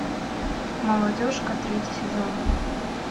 молодежка третий сезон